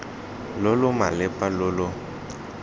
lo lo malepa lo lo